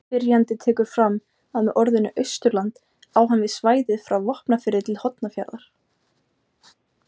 Spyrjandi tekur fram að með orðinu Austurland á hann við svæðið frá Vopnafirði til Hornafjarðar.